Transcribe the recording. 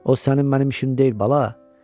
O sənin-mənim işim deyil, bala.